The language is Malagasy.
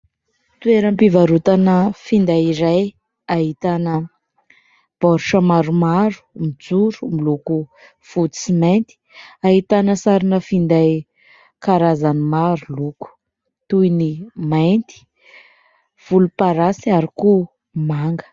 Toeram-pivarotana finday iray ahitana baoritra maromaro mijoro, miloko fotsy sy mainty. Ahitana sarina finday karazany maro loko toy ny mainty, volomparasy ary koa manga.